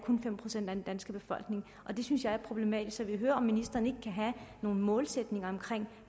fem procent af den danske befolkning og det synes jeg er problematisk så jeg vil høre om ministeren ikke kan have nogle målsætninger om